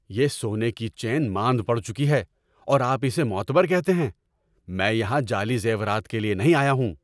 یہ سونے کی چین ماند پڑ چکی ہے اور آپ اسے معتبر کہتے ہیں؟ میں یہاں جعلی زیورات کے لیے نہیں آیا ہوں!